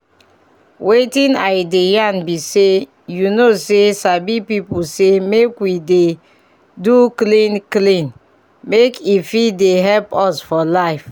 wetin i dey yan bi say you know say sabi people say make we dey do clean clean make e fit dey help us for life